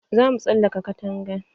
Zamu tsalaka katanga.